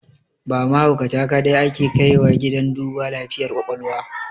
Ba mahaukata kaɗai ake kaiwa gidan duba lafiyar ƙwaƙwalwa